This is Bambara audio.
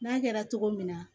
N'a kɛra cogo min na